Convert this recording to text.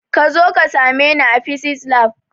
Kazo ka same ni a fisis lab